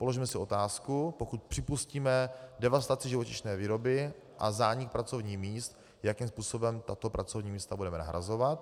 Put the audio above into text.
Položme si otázku, pokud připustíme devastaci živočišné výroby a zánik pracovních míst, jakým způsobem tato pracovní místa budeme nahrazovat.